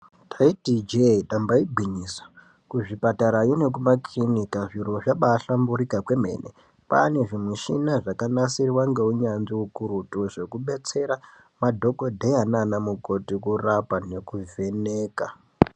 Taitiche tamba igwinyiso kuzvipatara nemumakirinika zviro zvabahlamburika komene kwaa nezvimichina zvakanasirwa neunyanzvi hukurutu zvekubetsera madhokodheya nanamukoti kurapa nekuvheneka.